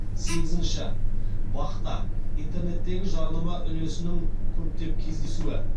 сегізінші бақ та интернеттегі жарнама үлесінің көптеп кездесуі